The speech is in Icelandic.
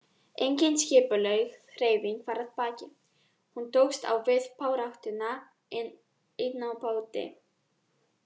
Engin skipulögð hreyfing var að baki, hún tókst á við baráttuna ein á báti.